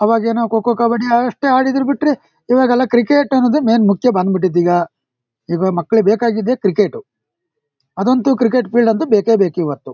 ಅವಾಗೇನೋ ಖೋ ಖೋ ಕಬ್ಬಡಿ ಅಷ್ಟೇ ಆಡಿದ್ರು ಬಿಟ್ರೆ ಇವಾಗೆಲ್ಲ ಕ್ರಿಕೆಟ್ ಅನ್ನೋದು ಮೇನ್ ಮುಕ್ಯ ಬಂಧ್ಬಿಟ್ಟಿದೆ ಇವಾಗ್. ಮಾಕ್ಲಿಗ್ ಬೇಕಾಗಿದ್ದೆ ಕ್ರಿಕೆಟ್ ಅದಂತೂ ಕ್ರಿಕೆಟ್ ಫೀಲ್ಡ್ ಅಂತೂ ಬೇಕೇ ಬೇಕ್ ಇವತ್ತು.